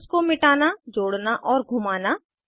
bonds को मिटाना जोड़ना और घुमाना